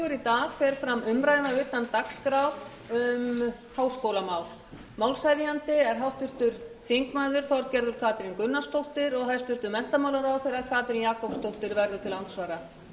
dag fer fram umræða utan dagskrár um háskólamál málshefjandi er háttvirtur þingmaður þorgerður katrín gunnarsdóttir og hæstvirtur menntamálaráðherra katrín jakobsdóttir verður til andsvara